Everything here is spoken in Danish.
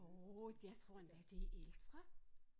Jo jeg tror endda det er ældre